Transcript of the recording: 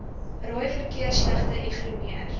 rooi verkeersligte ignoreer